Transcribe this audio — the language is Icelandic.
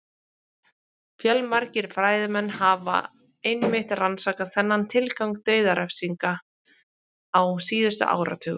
Fjölmargir fræðimenn hafa einmitt rannsakað þennan tilgang dauðarefsinga á síðustu áratugum.